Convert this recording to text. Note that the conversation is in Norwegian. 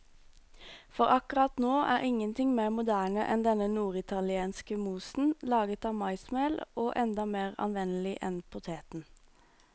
For akkurat nå er ingenting mer moderne enn denne norditalienske mosen, laget av maismel og enda mer anvendelig enn poteten.